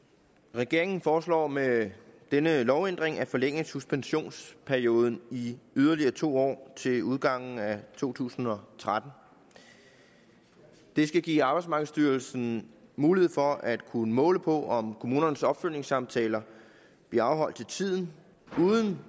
regeringen foreslår med denne lovændring at forlænge suspensionsperioden i yderligere to år til udgangen af to tusind og tretten det skal give arbejdsmarkedsstyrelsen mulighed for at kunne måle på om kommunernes opfølgningssamtaler bliver afholdt til tiden uden